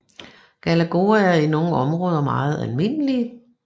Galagoer er i nogle områder meget almindelige